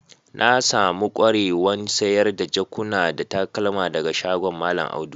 Na samu kwarewan sayar da jakuna da takalma daga shagon mallam Audu.